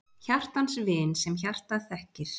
Hjartans vin, sem hjartað þekkir!